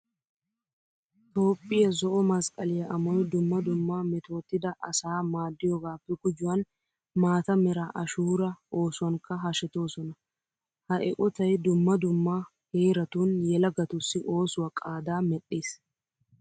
Toophphiya zo"o masqqaliya amoy dumma dumma metootida asaa maaddiyogaappe gujuwan maata mera ashuuraa oosuwankka hashetoosona. Ha eqotay dumma dumma heeratun yelagatussi oosuwa qaadaa medhdhiis.